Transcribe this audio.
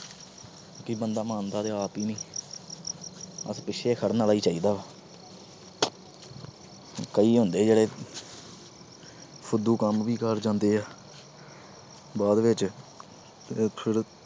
ਕਿ ਬੰਦਾ ਮੰਨਦਾ ਤਾਂ ਆਪ ਈ ਨੀ। ਬਸ ਪਿੱਛੇ ਖੜ੍ਹਨ ਵਾਲਾ ਈ ਚਾਹੀਦਾ। ਕਈ ਹੁੰਦੇ ਜਿਹੜੇ ਫੁਦੂ ਕੰਮ ਵੀ ਕਰ ਜਾਂਦੇ ਆ। ਬਾਅਦ ਵਿੱਚ ਫਿਰ